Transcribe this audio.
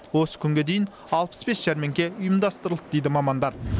осы күнге дейін алпыс бес жәрмеңке ұйымдастырылды дейді мамандар